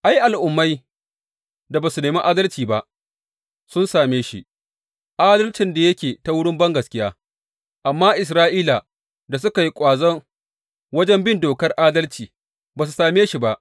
Ai, Al’ummai da ba su nemi adalci ba, sun same shi, adalcin da yake ta wurin bangaskiya; amma Isra’ila da suka yi ƙwazo wajen bin Dokar adalci, ba su same shi ba.